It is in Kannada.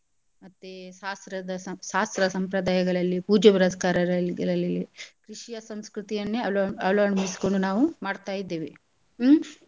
ಮತ್ತೆ ಶಾಸ್ತ್ರದ ಶಾಸ್ತ್ರ ಸಂಪ್ರದಾಯಗಳಲ್ಲಿ ಪೂಜೆ ಪುರಸ್ಕಾರಗಳಲ್ಲಿ ಕೃಷಿಯ ಸಂಸ್ಕೃತಿಯನ್ನೇ ಅಳ್~ ಅಳ್ವಡಿಸಿಕೊಂಡು ನಾವು ಮಡ್ತಾ ಇದ್ದೇವೆ ಹ್ಮ್.